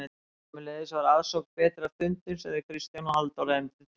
Sömuleiðis var aðsókn betri að fundum sem þau Kristján og Halldóra efndu til.